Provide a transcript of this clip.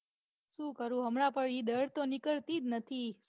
સુ કરું હમણાં પણ ઈ ડર તો નીકળતી જ નથી.